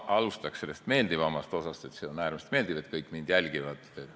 Ma alustan sellest meeldivamast osast: see on äärmiselt meeldiv, et kõik mind jälgivad.